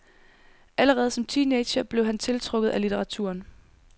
Allerede som teenager blev han tiltrukket af litteraturen.